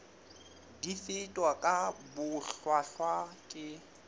di fetwa ka bohlwahlwa ke